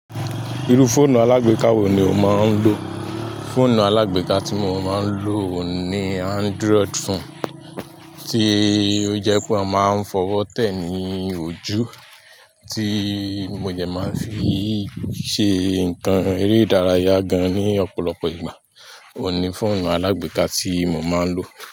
Irú fóònù alágbèká wo ni o máa ń lò? Fóònù alágbèká tí mo máa ń lò ni Android fonu, tí ó jẹ́ pé a máa ń fọwọ́ tẹ̀ ní ojú, tí mo jẹ máa ń fi ṣe nǹkan eré ìdárayá gan ní ọ̀pọ̀lọpọ̀ ìgbà. Ó ni fóònù alágbèká tí mo máa ń lò.